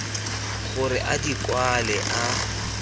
gore a di kwale a